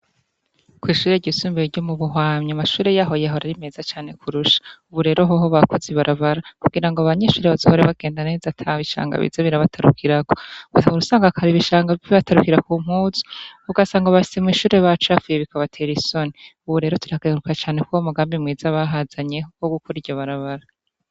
Kw'ishure ryisumbuye ryo muhwanya, amashure yaho yahora ari meza cane kurusha, ubu rero hoho bakoz'ibarabara kugirango abanyeshure bazohore bagenda neza ata bishanga biza birabatarukirako, gusa wahor'usanga kare ibishanga biza birabatarukira ku mpuzu ,ugasanga mw'ishure hose huzuy'ibishanga, bikabater'isoni ubu rero turakenguruka cane ,kuruwo mugambi mwiza bahazanye wo gukor'iryo barabara.